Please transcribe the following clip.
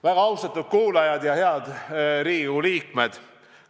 Väga austatud kuulajad ja head Riigikogu liikmed!